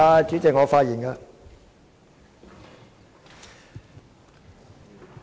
主席，我發言了。